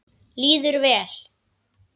Líður vel.